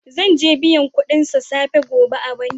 Zan je n'biya kudin sa safe gobe a'banki.